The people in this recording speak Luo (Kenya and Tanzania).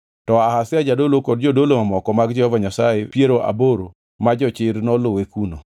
To Azaria jadolo kod jodolo mamoko mag Jehova Nyasaye piero aboro ma jochir noluwe kuno.